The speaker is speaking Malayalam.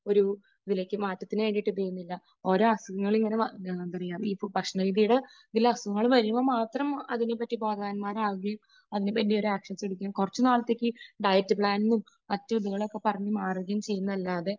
ഒരു വിലക്ക് മാറ്റത്തിനുവേണ്ടിയിട്ട് ഇത് ചെയ്യുന്നില്ല. ഓരോ അസുഖങ്ങളൊക്കെ എന്താ പറയുക, ഈ ഭക്ഷണരീതിയുടെ ഇതിൽ അസുഖങ്ങൾ വരുമ്പോൾ മാത്രം അതിനെപ്പറ്റി ബോധവാൻമാരാകുകയും അതിനുവേണ്ടി ഒരു ആക്ഷൻ ശ്രമിക്കുകയും കുറച്ചുനാളത്തേക്ക് ഡയറ്റ് പ്ലാനും മറ്റ് ഇതും ഒക്കെ പറഞ്ഞു മാറുകയും ചെയ്യുന്നത് അല്ലാതെ